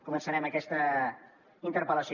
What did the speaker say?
començarem aquesta interpel·lació